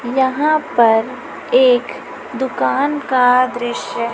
यहां पर एक दुकान का दृश्य